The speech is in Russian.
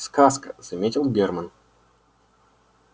сказка заметил германн